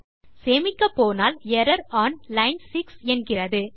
சரி சேமிக்கப்போனால் error one line 6 என்கிறது